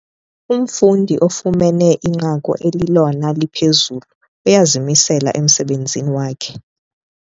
Umfundi ofumene inqaku elilona liphezulu uyazimisela emsebenzini wakhe.